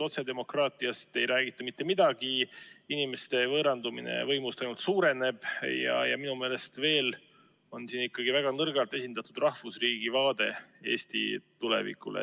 Otsedemokraatiast ei räägita mitte midagi, inimeste võõrandumine võimust ainult suureneb ja minu meelest on siin ikkagi väga nõrgalt esindatud rahvusriigi vaade Eesti tulevikule.